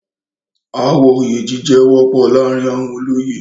ááwọ̀ oyè jíjẹ wọ́pọ̀ láàrin àwọn olóyè.